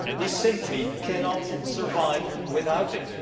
We simply cannot survive without it.